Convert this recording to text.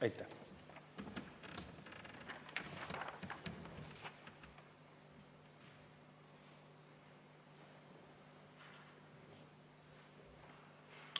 Aitäh!